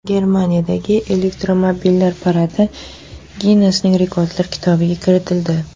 Germaniyadagi elektromobillar paradi Ginnesning Rekordlar kitobiga kiritildi .